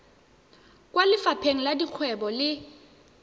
kwa lefapheng la dikgwebo le